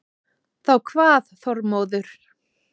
Þá kvað Þormóður